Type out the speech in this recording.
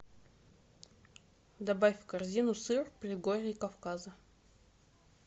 добавь в корзину сыр предгорье кавказа